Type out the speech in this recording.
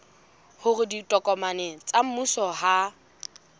hore ditokomane tsa mmuso ha